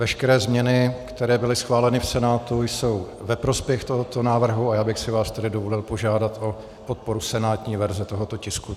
Veškeré změny, které byly schváleny v Senátu, jsou ve prospěch tohoto návrhu, a já bych si vás tedy dovolil požádat o podporu senátní verze tohoto tisku.